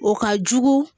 O ka jugu